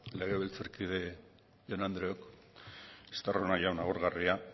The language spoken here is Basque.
legebiltzarkide jaun andreok estarrona jauna agurgarria